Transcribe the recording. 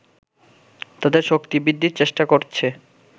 তাদের শক্তি বৃদ্ধির চেষ্টা করছে